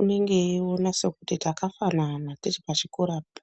unenge eiwona sekunge takafanana tiri pachikorapo.